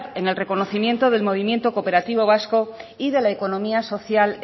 en el reconocimiento del movimiento cooperativo vasco y de la economía social